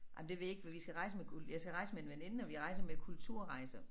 Jamen det ved jeg ikke for vi skal rejse med jeg skal rejse med en veninde og vi rejser med Kulturrejser